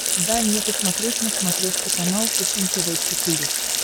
дай мне посмотреть на смотрешке канал фэшен тв четыре к